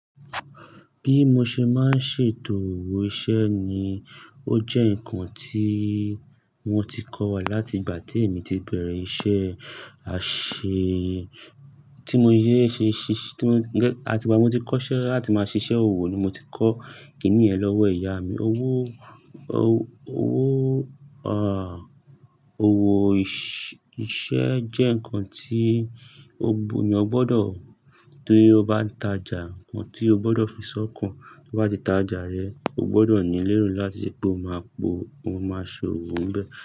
Bí mo ṣe máa ń ṣètò owó iṣẹ́ ni ó jẹ́ ǹkan tí wọ́n ti kọ́ wa láti ìgbà tí èmi ti bẹ̀rẹ̀ iṣẹ́ àṣẹ-- tí mo yé ṣe ṣiṣ-- tí mo gẹ́, àti ìgbà mo ti kọ́ṣẹ́ láti máa ṣiṣẹ́ òwò ni mo ti kọ́ kìníyen lọ́wọ́ ìyá mi. Owó, owó, à, owó iṣẹ́ jẹ́ ǹkan tí ó gbó, ni o gbọdọ̀ tó bí o bá ń tajà ǹkan tí o gbọdọ̀ fi ṣọ́kàn tó bá ti tajà rẹ. O gbọdọ̀ ní lérò láti rí pé o máa po, o máa ṣọ owó ń bẹ.